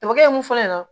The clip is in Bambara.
Dɔgɔkɛ mun fɔ ɲɛna